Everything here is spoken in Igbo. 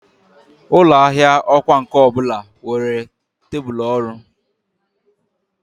Ụlọ ahịa ọkwá nkà ọ bụla nwere tebụl ọrụ.